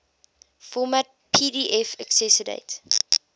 format pdf accessdate